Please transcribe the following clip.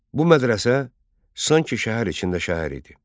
Bu mədrəsə sanki şəhər içində şəhər idi.